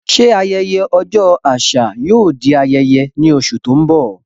Ṣé ayẹyẹ Ọjọ́ Àṣà yóò di ayẹyẹ ní oṣù tó ń bọ̀?